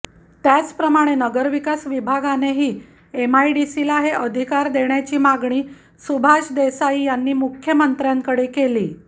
त्याचप्रमाणे नगरविकास विभागानेही एमआयडीसीला हे अधिकार देण्याची मागणी सुभाष देसाई यांनी मुख्यमंत्र्यांकडे केली